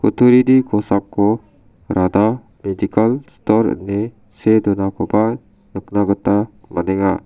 kutturini kosako radha medikal stor ine see donakoba nikna gita man·enga.